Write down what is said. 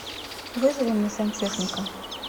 вызови мне сантехника